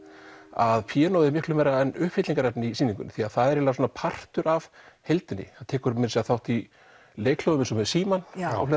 að píanóið er miklu meira en uppfyllingarefni í sýningunni það er partur af heildinni tekur meira að segja þátt í leikhljóðum eins og með símann